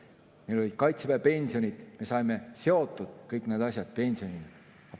Meil olid kaitseväepensionid, me saime kõik need asjad pensioniga seotud.